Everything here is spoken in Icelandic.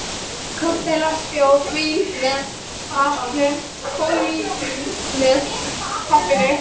Kokteilar, bjór, vín með matnum, koníak með kaffinu.